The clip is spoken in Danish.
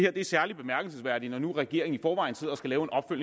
er særlig bemærkelsesværdigt når nu regeringen